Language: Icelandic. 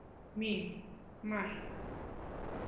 Mín: Mark!!!!!